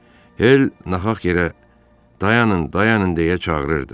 Hel nahaq yerə “Dayanın, dayanın” deyə çağırırdı.